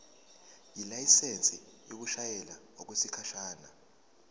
ilayisensi yokushayela okwesikhashana